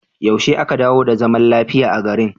Yaushe aka dawo da zaman lafiya a garin?